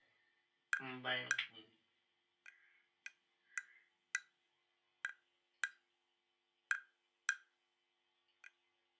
ஹம் bye அண்ணா